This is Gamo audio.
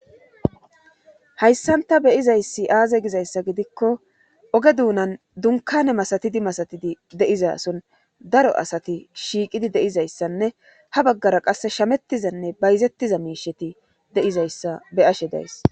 Hayssanta beyizayssi aaze gizayssa gidikko oge duunan dunkane masatidi masatidi deiza son daro asati shiiqidi deizayssanne ha baggara qasse shamettizanne bayzettiza miisheti dizaysabeyashe days